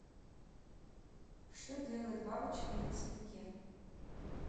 что делает бабочка на цветке